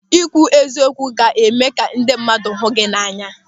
Ị kwụ eziokwu ga-eme ka ndị mmadụ hụ gị n'anya.